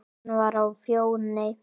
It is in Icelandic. Hann var á Fjóni.